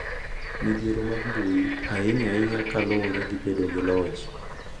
Midhiero mag mbui, ahinya ahinya ka luwore gi bedo gi loch,